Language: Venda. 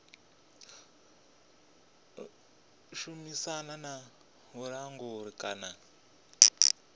ḓo shumisana na vhulanguli kana